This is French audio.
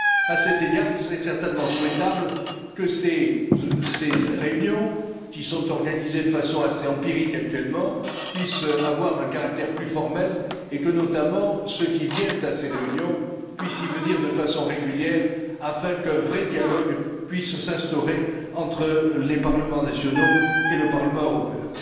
À cet égard, il serait certainement souhaitable que ces réunions, qui sont organisées de façon assez empirique actuellement, puissent avoir un caractère plus formel et que, notamment, ceux qui viennent à ces réunions, puissent le faire de façon régulière, afin qu'un vrai dialogue puisse s'instaurer entre les parlements nationaux et le Parlement européen.